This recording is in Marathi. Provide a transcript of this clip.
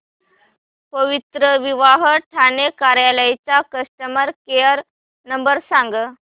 पवित्रविवाह ठाणे कार्यालय चा कस्टमर केअर नंबर सांग